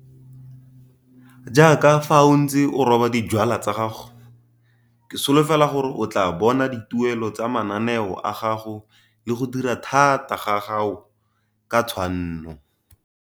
Jaaka fa o ntse o roba dijwalwa tsa gago, ke solofela gore o tlaa bona dituelo tsa mananeo a gago le go dira thata gag ago ka tshwanno.